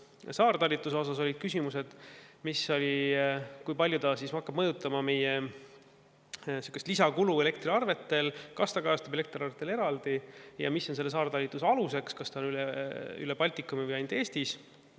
Ka saartalitluse kohta olid küsimused, näiteks, kui palju see hakkab mõjutama meie elektriarveid, kas see toob kaasa lisakulu elektriarvetel, kas see kajastub elektriarvetel eraldi ning mis on saartalitluse alus, kas see on üle Baltikumi või ainult Eestis.